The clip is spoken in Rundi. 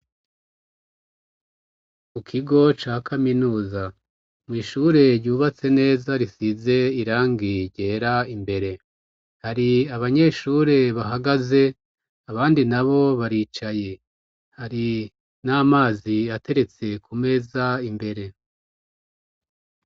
Mu kigo ca kaminuza, mw'ishure ryubatse neza, risize irangi ryera, imbere hari abanyeshure bahagaze, abandi nabo baricaye, hari n'amazi ateretse ku meza imbere.